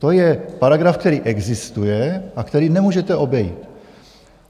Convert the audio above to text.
To je paragraf, který existuje a který nemůžete obejít.